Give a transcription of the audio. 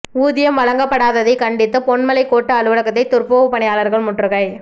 ஊதியம் வழங்கப்படாததை கண்டித்து பொன்மலை கோட்ட அலுவலகத்தை துப்புரவு பணியாளர்கள் முற்றுகை